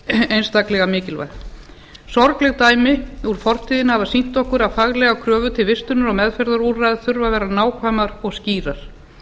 einstaklega mikilvæg sorgleg dæmi úr fortíðinni hafa sýnt okkur að faglegar kröfur til vistunar og meðferðarúrræða þurfa að vera nákvæmar og skýrar